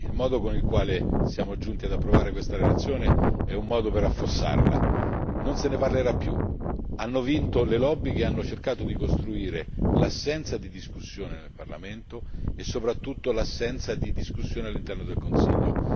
Il modo in cui siamo giunti ad approvare questa relazione è un modo per affossarla, non se ne parlerà più. Hanno vinto le lobby che hanno cercato di costruire l'assenza di discussione nel Parlamento e soprattutto l'assenza di discussione all'interno del Consiglio.